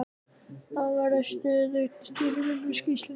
Þá verður stöðug sýrumyndun í sýklunni.